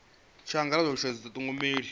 tshi angaredzwa u sa dithogomela